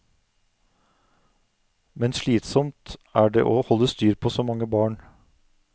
Men slitsomt er det å holde styr på så mange barn.